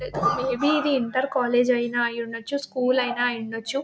maybe ఇది inter college అయినా అయ్యుండవచ్చు స్కూల్ అయినా అయ్యుండొచ్చు